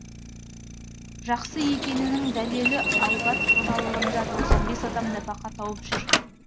жақсы екенінің дәлелі айбат қожалығында тоқсан бес адам нәпақа тауып жүр